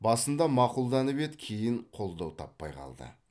басында мақұлданып еді кейін қолдау таппай қалды